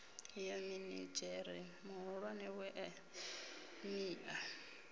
ya minidzhere muhulwane wa emia